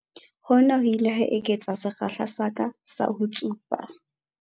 Hona ho ile ha eketsa sekgahla sa ka sa ho tsuba.